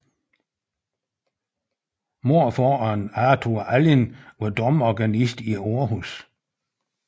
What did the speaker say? Morfaderen Arthur Allin var domorganist i Aarhus